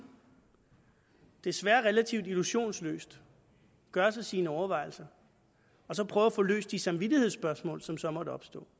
desværre relativt illusionsløst gøre sig sine overvejelser og så prøve at få løst de samvittighedsspørgsmål som så måtte opstå